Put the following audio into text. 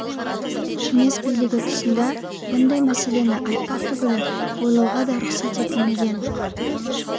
кеңес билігі тұсында мұндай мәселені айтпақ түгілі ойлауға да рұқсат етілмейтін